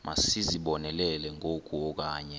masizibonelele ngoku okanye